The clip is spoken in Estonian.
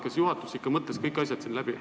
Kas juhatus ikka mõtles kõik asjad läbi?